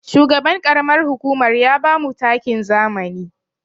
Shugaban ƙaramar hukumar ya bamu takin zamani.